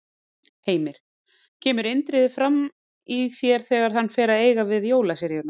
Heimir: Kemur Indriði fram í þér þegar hann fer að eiga við jólaseríurnar?